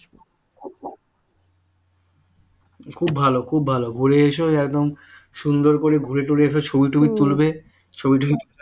খুব ভালো খুব ভালো ঘুরে এসো একদম সুন্দর করে ঘুরে টুরে এসো ছবি টবি তুলবে ছবি টবি